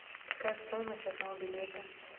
какая стоимость одного билета